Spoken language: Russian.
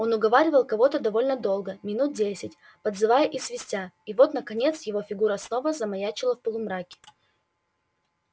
он уговаривал кого-то довольно долго минут десять подзывая и свистя и вот наконец его фигура снова замаячила в полумраке